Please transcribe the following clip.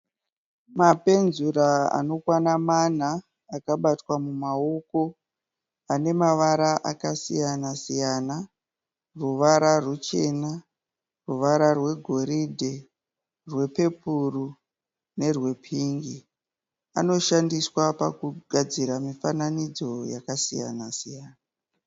Mapenzura anokwana mana akabatwa mumaoko ane mavara akasiyana siyana, ruvara ruchena, ruvara rwegoridhe, rwepepuro nerwepingi. Anoshandiswa pakugadzira mifananidzo yakasiyana-siyana.